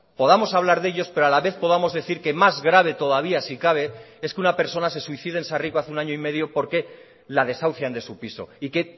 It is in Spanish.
podamos hablar de ellos pero a la vez podamos decir que más grave todavía si cabe es que una persona se suicide en sarriko hace un año y medio porque la desahucian de su piso y que